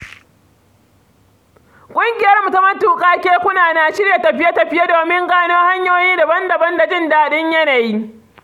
Ƙungiyarmu ta matuƙa kekuna na shirya tafiye-tafiye domin gano hanyoyi daban-daban da jin daɗin yanayi.